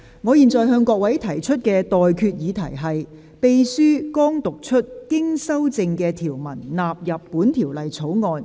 我現在向各位提出的待決議題是：秘書剛讀出經修正的條文納入本條例草案。